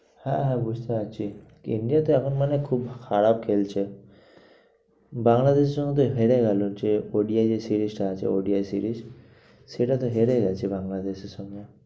হ্যাঁ হ্যাঁ, বুঝতে পারছি। India এখন মানে খুব খারাপ খেলছে বাংলাদেশের সঙ্গে তো হেরে গেলো যে ODI যে series টা আছে। ODI series সেটা তো হেরে গেছে বাংলাদেশের সঙ্গে।